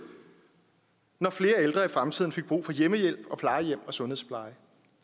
når flere ældre i fremtiden fik brug for hjemmehjælp og plejehjem og sundhedspleje